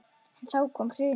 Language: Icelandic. En þá kom hrunið.